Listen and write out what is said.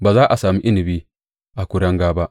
Ba a za sami inabi a kuringa ba.